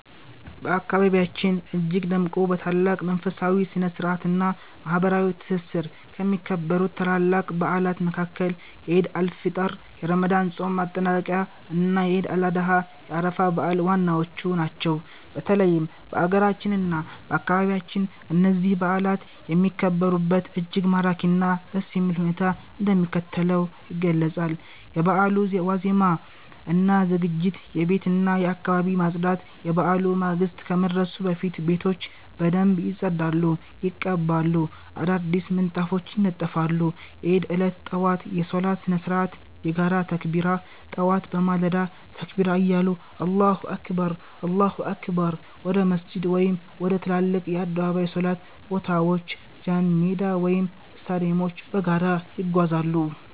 በአካባቢያችን እጅግ ደምቆ፣ በታላቅ መንፈሳዊ ስነ-ስርዓት እና ማህበራዊ ትስስር ከሚከበሩት ታላላቅ በዓላት መካከል የዒድ አል-ፊጥር የረመዳን ጾም ማጠናቀቂያ እና የዒድ አል-አድሃ የአረፋ በዓል ዋናዎቹ ናቸው። በተለይም በአገራችን እና በአካባቢያችን እነዚህ በዓላት የሚከበሩበት እጅግ ማራኪ እና ደስ የሚል ሁኔታ እንደሚከተለው ይገለጻል፦ የበዓሉ ዋዜማ እና ዝግጅት የቤትና የአካባቢ ማፅዳት፦ የበዓሉ ማግስት ከመድረሱ በፊት ቤቶች በደንብ ይጸዳሉ፣ ይቀባሉ፣ አዳዲስ ምንጣፎች ይነጠፋሉ። የዒድ ዕለት ጠዋት የሶላት ስነ-ስርዓት የጋራ ተክቢራ፦ ጠዋት በማለዳ ተክቢራ እያሉ አላሁ አክበር፣ አላሁ አክበር... ወደ መስጂድ ወይም ወደ ትላልቅ የአደባባይ ሶላት ቦታዎች ጃንሜዳ ወይም ስታዲየሞች በጋራ ይጓዛሉ።